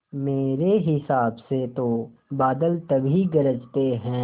मेरे हिसाब से तो बादल तभी गरजते हैं